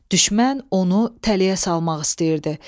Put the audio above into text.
Düşmən onu tələyə salmaq istəyirdi.